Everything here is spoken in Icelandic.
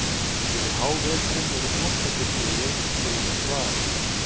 Yfir háveturinn eru þvottabirnir í einhvers konar dvala.